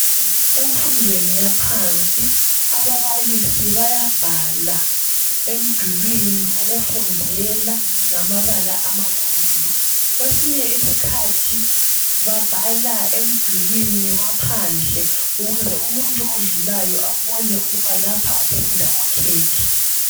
Emfundweni yaphansi ababalisi bayabhala emdulwini wokufundela ngamabala amakhulu kwesinye isikhathi babhala emidulwini waphandle ukuze umuntu odlulayo abone ukuba lapha kufunda okhekhe.